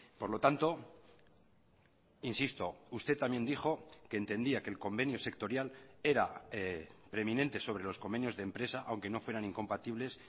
por lo tanto insisto usted también dijo que entendía que el convenio sectorial era preeminente sobre los convenios de empresa aunque no fueran incompatibles